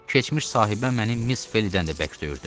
Keçmiş sahibəm məni Miss Felidən də bərk döyürdü.